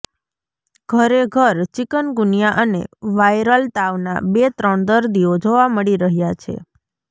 ઘરે ઘર ચિકનગુનિયા અને વાયરલ તાવના બે ત્રણ દર્દીઓ જોવા મળી રહ્યા છે